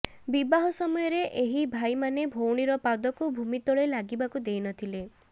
ବିବାହ ସମୟରେ ଏହି ଭାଇମାନେ ଭଉଣୀର ପାଦକୁ ଭୂମି ତଳେ ଲାଗିବାକୁ ଦେଇନଥିଲେ